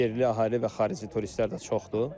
Yerli əhali və xarici turistlər də çoxdur.